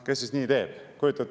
Kes siis nii teeb?